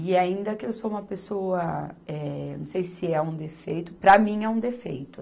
E ainda que eu sou uma pessoa, eh, não sei se é um defeito, para mim é um defeito